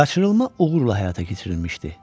Qaçırılma uğurla həyata keçirilmişdi.